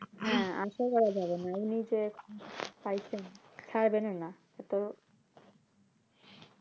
হ্যাঁ আশা করা যাযে না এমনিতে ছাড়বেনও না